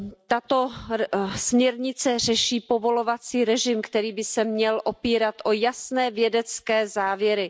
Tato směrnice řeší povolovací režim, který by se měl opírat o jasné vědecké závěry.